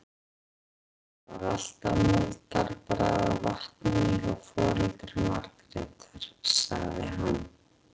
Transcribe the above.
Það var alltaf moldarbragð af vatninu hjá foreldrum Margrétar, sagði hann.